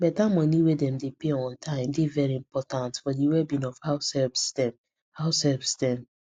beta money wey dem dey pay on time dey very important for the wellbeing of househelps dem househelps dem